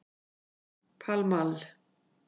Pall Mall